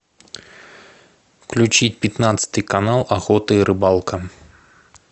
включить пятнадцатый канал охота и рыбалка